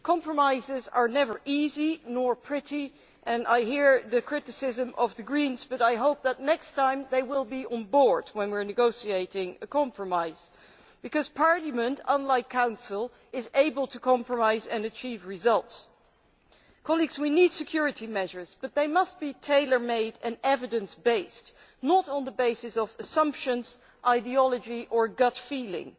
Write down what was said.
Compromises are never easy or pretty, and I hear the Greens' criticism but I hope that next time they will be on board when we are negotiating a compromise because Parliament, unlike the Council, is able to compromise and achieve results. We need security measures but they must be tailor made and evidence based, not based on assumptions, ideology or gut feeling.